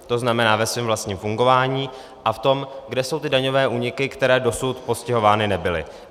To znamená ve svém vlastním fungování a v tom, kde jsou ty daňové úniky, které dosud postihovány nebyly.